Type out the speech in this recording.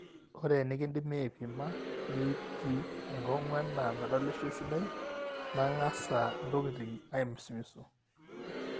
ore enikindipi aaipima netieu enkong'u enaa medolisho esidai nang'asa ntokitin aamisimisu